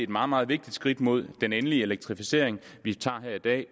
meget meget vigtigt skridt mod den endelige elektrificering vi tager her i dag